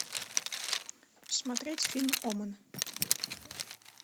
смотреть фильм омен